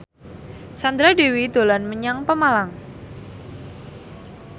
Sandra Dewi dolan menyang Pemalang